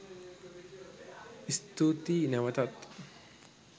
ස්තූතිය් නැවතත්